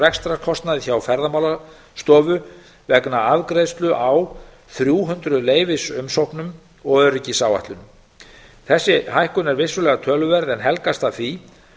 rekstrarkostnaði hjá ferðamálastofu vegna afgreiðslu á þrjú hundruð leyfisumsóknum og öryggisáætlunum þessi hækkun er vissulega töluverð en helgast af því